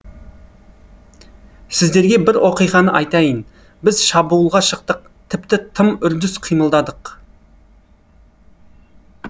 сіздерге бір оқиғаны айтайын біз шабуылға шықтық тіпті тым үрдіс қимылдадық